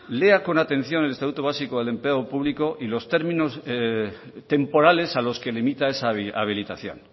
lea con atención el estatuto básico del empleo público y los términos temporales a los que limita esa habilitación